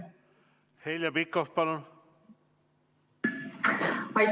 Heljo Pikhof, palun!